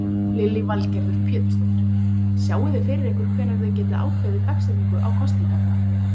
Lillý Valgerður Pétursdóttir: Sjáiði fyrir ykkur hvenær þið getið ákveðið dagsetningu á kosningarnar?